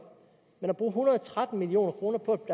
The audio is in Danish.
men at bruge en hundrede og tretten million kroner på